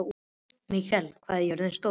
Mikael, hvað er jörðin stór?